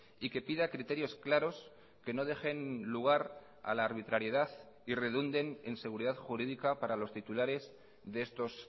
y que pida criterios claros que no dejen lugar a la arbitrariedad y redunden en seguridad jurídica para los titulares de estos